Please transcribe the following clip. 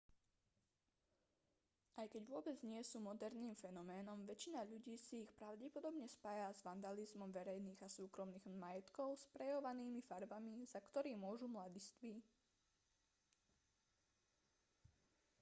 aj keď vôbec nie sú moderným fenoménom väčšina ľudí si ich pravdepodobne spája s vandalizmom verejných a súkromných majetkov sprejovými farbami za ktorý môžu mladiství